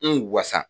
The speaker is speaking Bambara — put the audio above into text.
N wasa